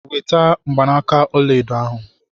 Weta mgbanaka ọla edo ahu.